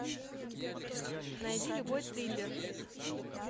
найди любой триллер